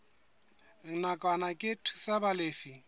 nakwana ke ho thusa balefi